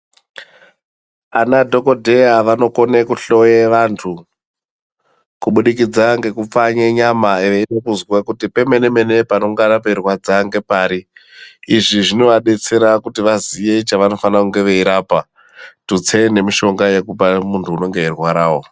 Ana dhokodheya vanokone kuhloya vantu kubudikidza ngekupfanye nyama vaide kunzwa pemene mene panenge pairwadza ngepari izvi zvinovadetsera kuti vaziye chavanenge vaifana rapa tutse nemushonga yekupa munti unenge eirwarawo.